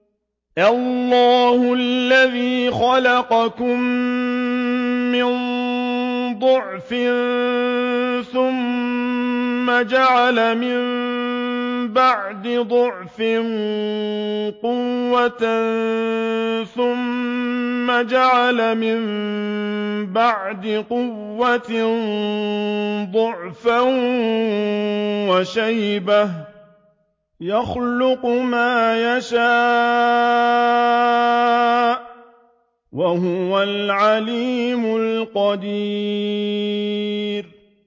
۞ اللَّهُ الَّذِي خَلَقَكُم مِّن ضَعْفٍ ثُمَّ جَعَلَ مِن بَعْدِ ضَعْفٍ قُوَّةً ثُمَّ جَعَلَ مِن بَعْدِ قُوَّةٍ ضَعْفًا وَشَيْبَةً ۚ يَخْلُقُ مَا يَشَاءُ ۖ وَهُوَ الْعَلِيمُ الْقَدِيرُ